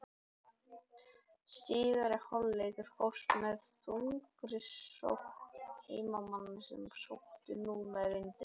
Síðari hálfleikur hófst með þungri sókn heimamanna sem sóttu nú með vindinum.